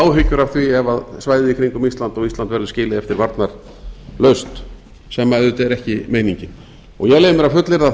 áhyggjur af því ef svæðið í kringum ísland og ísland verður skilið eftir varnarlaust sem auðvitað er ekki meiningin ég leyfi mér að fullyrða